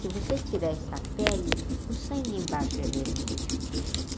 Se você tirar essa pele, o sangue embaixo é vermelho.